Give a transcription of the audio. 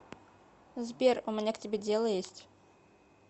сбер у меня к тебе дело есть